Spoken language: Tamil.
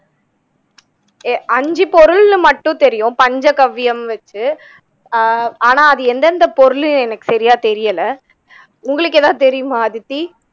ஏ ஐந்து பொருள்ன்னு மட்டும் தெரியும் பஞ்சகவ்வியம் வச்சு அ ஆனா அது எந்தெந்த பொருள்னு எனக்கு சரியா தெரியல உங்களுக்கு எதாவது தெரியுமா அதித்தி